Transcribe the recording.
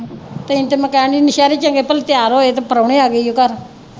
ਤੈਨੂੰ ਤਾ ਮੈ ਕਹਿਣ ਦੀ ਨੌਸ਼ਹਿਰੇ ਚੰਗੇ ਭਲੇ ਤਿਆਰ ਹੋਏ ਤੇ ਪ੍ਰੋਹਣੇ ਆ ਗਏ ਈ ਓ ਘਰ।